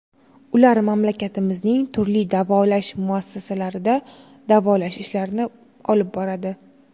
Ular mamlakatimizning turli davolash muassasalarida davolash ishlarini olib boradi.